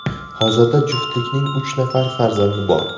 Hozirda juftlikning uch nafar farzandi bor.